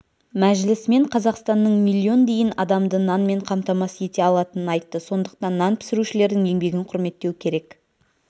мәжілісмен қазақстанның миллион дейін адамды нанмен қамтамасыз ете алатынын айтты сондықтан нан пісірушілердің еңбегін құрметтеу керек